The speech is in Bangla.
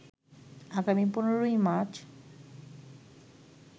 আগামী ১৫ মার্চ